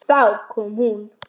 Þá kom hún.